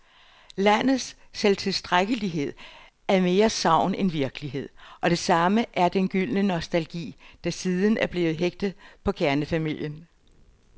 Landets selvtilstrækkelighed er mere sagn end virkelighed, og det samme er den gyldne nostalgi, der siden er blevet hægtet på kernefamilien.